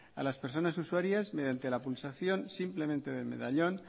a las personas usuarias mediante la pulsación simplemente del medallón